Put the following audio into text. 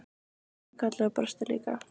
Hún kinkaði kolli og brosti líka.